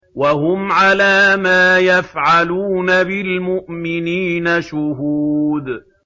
وَهُمْ عَلَىٰ مَا يَفْعَلُونَ بِالْمُؤْمِنِينَ شُهُودٌ